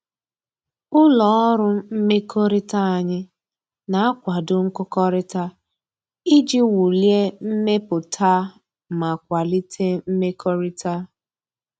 Ụlọ ọrụ mmekọrịta anyị na-akwado nkụkọrịta iji wulie mmepụta ma kwalite mmekọrịta